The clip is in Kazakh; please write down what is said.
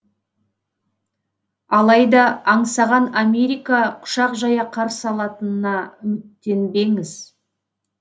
алайда аңсаған америка құшақ жая қарсы алатынына үміттенбеңіз